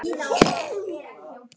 Það eru margar sætar stelpur í bænum.